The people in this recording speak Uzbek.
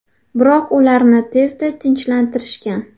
Biroq ularni tezda tinchlantirishgan.